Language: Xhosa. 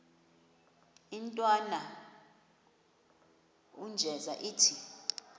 intwana unjeza ithi